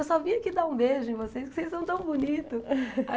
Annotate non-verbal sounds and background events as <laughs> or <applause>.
Eu só vim aqui dar um beijo em vocês, que vocês são tão bonitos. <laughs>